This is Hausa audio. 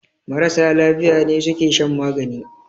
Marasa lafiya ne suke shan magani